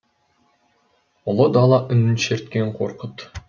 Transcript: ұлы дала үнін шерткен қорқыт